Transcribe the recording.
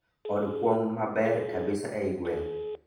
Od kuong' maber kabisa eiy gweng'